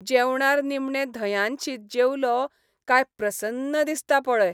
जेवणार निमणे धंयान शीत जेवलों कांय प्रसन्न दिसता पळय.